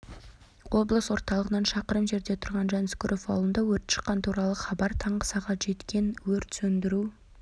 облыс орталығынан шақырым жерде түрған жансүгіров ауылында өрт шыққаны туралы хабар таңғы сағат жеткен өрт сөндіру